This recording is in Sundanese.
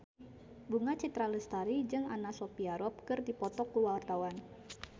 Bunga Citra Lestari jeung Anna Sophia Robb keur dipoto ku wartawan